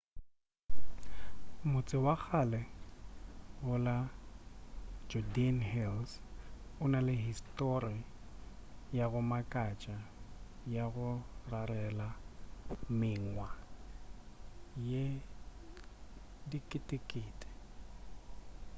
motse wa kgale go la judean hills o na le histori ya go makatša ya go rarela mengwa ye diketekete